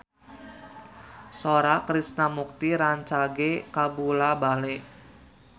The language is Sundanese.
Sora Krishna Mukti rancage kabula-bale